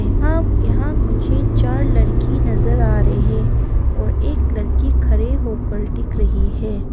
यहां यहां मुझे चार लड़की नजर आ रहे हैं और एक लड़की खड़े होकर दिख रही है।